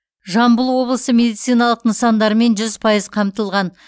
жамбыл облысы медициналық нысандармен жүз пайыз қамтылған